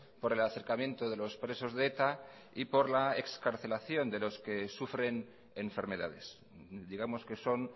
por el acercamiento de los presos de eta y por la excarcelación de los que sufren enfermedades digamos que son